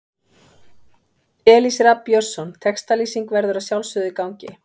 Elís Rafn Björnsson Textalýsing verður að sjálfsögðu í gangi.